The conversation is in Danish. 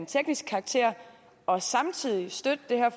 teknisk karakter og samtidig støtte det her